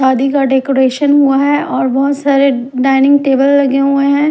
शादी का डेकोरेशन हुआ है और बहुत सारे डाइनिंग टेबल लगे हुए हैं ।